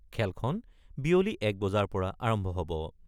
খেলখন বিয়লি ১ বজাৰ পৰা আৰম্ভ হ'ব।